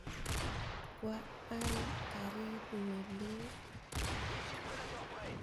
Kwa al karit ne lel.